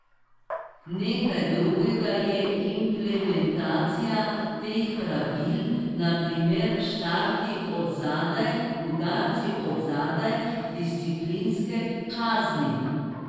Nekaj drugega je implementacija teh pravil, na primer štarti od zadaj, udarci od zadaj, disciplinske kazni ...